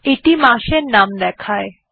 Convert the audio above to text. এইটি মাসের নাম দেয়